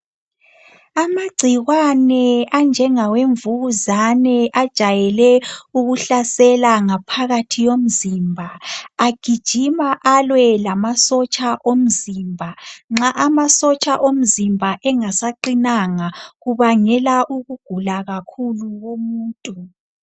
Amagcikwane anjengawe mvukuzane ajayele ukuhlasela ngaphakathi yomzimba. Agijima alwe lamasotsha omzimba. Nxa amasotsha omzimba engasaqinanga kubangela ukugula kakhulu komuntu.